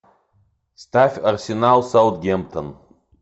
ставь арсенал саутгемптон